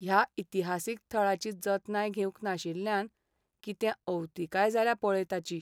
ह्या इतिहासीक थळाची जतनाय घेवंक नाशिल्ल्यान कितें अवतिकाय जाल्या पळय ताची.